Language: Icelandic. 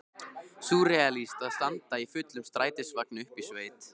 Súrrealískt að standa í fullum strætisvagni uppi í sveit!